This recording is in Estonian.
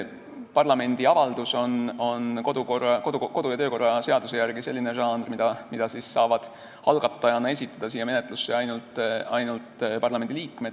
Parlamendi avaldus on kodu- ja töökorra seaduse järgi selline žanr, mida saavad algatajana siia menetlusse esitada ainult parlamendiliikmed.